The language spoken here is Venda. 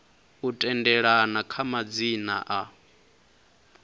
u tendelana kha madzina a